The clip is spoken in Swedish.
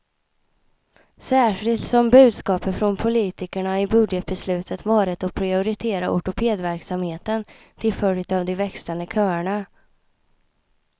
Särskilt som budskapet från politikerna i budgetbeslutet varit att prioritera ortopedverksamheten, till följd av de växande köerna.